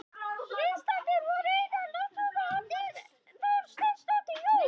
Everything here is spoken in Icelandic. Viðstaddir voru Einar Loftsson og Oddný Þorsteinsdóttir, Jón